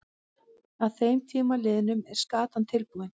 Að þeim tíma liðnum er skatan tilbúin.